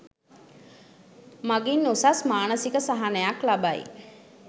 මගින් උසස් මානසික සහනයක් ලබයි.